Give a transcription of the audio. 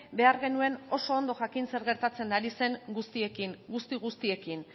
behar genuen oso ondo jakin zer gertatzen ari zen guztiekin guzti guztiekin